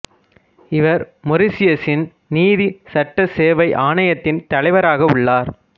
இவர் மொரிசியசின் நீதி சட்ட சேவை ஆணையத்தின் தலைவராக உள்ளார்